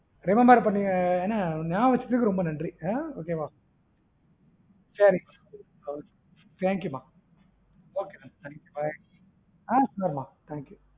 நியாபகம் வச்சதுக்கு ரொம்ப நன்றி, அஹ் okay வா சரி மா okay ம thank you ம bye அஹ் சொல்லுங்க மா thank you